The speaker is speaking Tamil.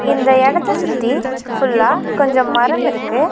இந்த எடத்த சுத்தி ஃபுல்லா கொஞ்சம் மரம் இருக்கு.